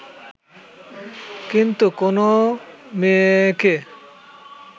কিন্তু কোনও মেয়েকে